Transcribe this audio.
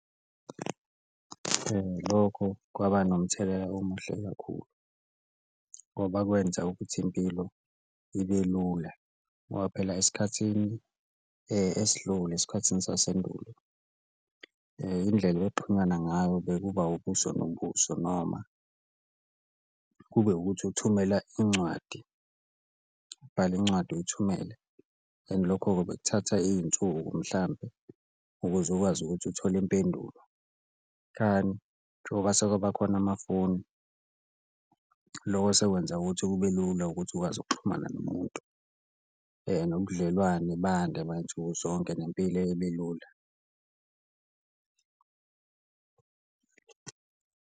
Lokho kwaba nomthelela omuhle kakhulu ngoba kwenza ukuthi impilo ibe lula ngoba phela esikhathini esidlule, esikhathini sasendulo indlela ngayo bekuba ubuso nobuso, noma kube ukuthi uthumela incwadi, ubhale incwadi uyithumele and lokho-ke bekuthatha iy'nsuku mhlampe ukuze ukwazi ukuthi uthole impendulo. Njengoba sekwabakhona amafoni loko sekwenza ukuthi kube lula ukuthi ukwazi ukuxhumana nomuntu, nobudlelwane bande bayinsuku zonke nempilo ibe lula.